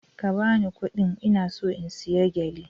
Ka ba ni kuɗin, ina so in saya gele!